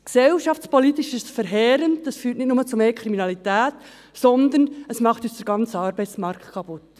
Gesellschaftspolitisch ist es verheerend, das führt nicht nur zu mehr Kriminalität, sondern es macht uns den ganzen Arbeitsmarkt kaputt.